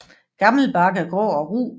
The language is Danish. Gammel bark er grå og ru